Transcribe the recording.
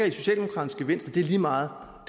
i socialdemokraternes det er lige meget og